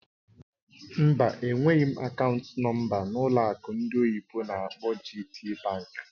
Mba, enweghị m akaụntụ nọ̀mbà ụlọ akụ ndị oyibo n'akpọ "GTbank"